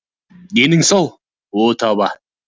денің сау о тоба